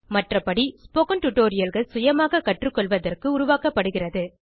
மற்றபடி ஸ்போக்கன் tutorialகள் சுயமாக கற்றுக்கொள்வதற்கு உருவாக்கப்படுகிறது